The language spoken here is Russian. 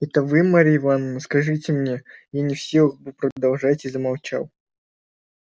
это вы марья ивановна скажите мне я не в силах был продолжать и замолчал